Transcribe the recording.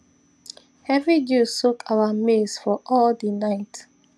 heavy dew soak our maize for all the night